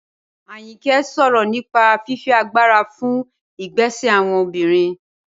Ayinke sọ̀rọ̀ nípa fífi agbára fún ìgbésẹ̀ àwọn obìnrin.